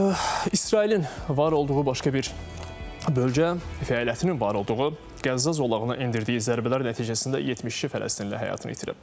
İsrailin var olduğu başqa bir bölgə, fəaliyyətinin var olduğu Qəzza zolağına endirdiyi zərbələr nəticəsində 72 Fələstinli həyatını itirib.